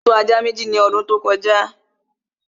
Mo tọ́ ajá Méjì ní ọdún tí ó kọjá